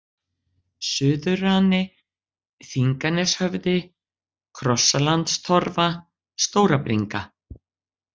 Suðurrani, Þinganeshöfði, Krossalandstorfa, Stórabringa